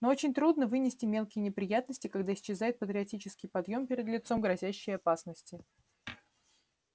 но очень трудно вынести мелкие неприятности когда исчезает патриотический подъём перед лицом грозящей опасности